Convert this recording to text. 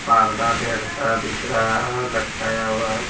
पार्दा धेर सारा दिख रहा है लटकाया हुआ--